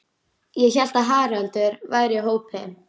Ég hélt að Haraldur væri í hópi